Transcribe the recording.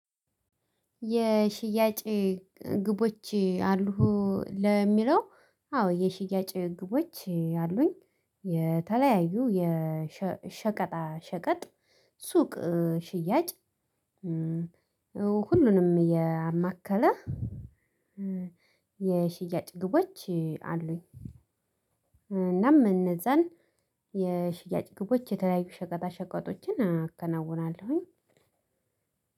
የሽያጭ ግቦች አሉህ? ለሚለው አዎ የሽያጭ ግቦች አሉኝ የተለያዩ የሸቀጣ ሸቀጥ ሱቅ ሽያጭ ሁሉንም ያማከለ የሽያጭ ግቦች አሉኝ እናም እነዛን የሽያጭ ግቦች የተለያዩ ሸቀጣ ሸቀጦችን አከናውናለሁኝ